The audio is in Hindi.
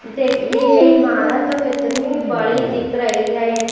देखिए यह इमारत कितनी बड़ी दिख रही है।